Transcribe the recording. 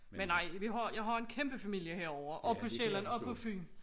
Men nej vi har jeg har en kæmpe familie herovre og på Sjælland og på Fyn